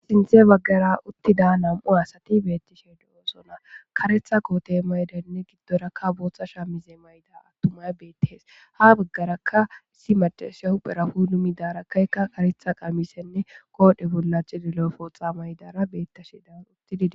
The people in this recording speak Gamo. sinthe baggara uttida nam7u asati beettishe du7oosona karetha koote maydenne giddorakka booththa shaa mize mayda attumay beettehees ha baggarakka issi madashia huphera hu numidarakkaykka karetha qamisenne koodhe bollachi lilo pootha maydara beettashe da uttidide